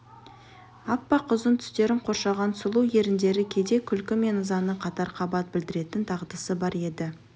аппақ ұзын тістерін қоршаған сұлу еріндері кейде күлкі мен ызаны қатар қабат білдіретін дағдысы бар еді